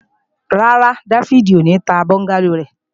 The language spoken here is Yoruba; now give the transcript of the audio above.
Rárá, Dáfídì ò ní ta bọ́ńgálò rẹ̀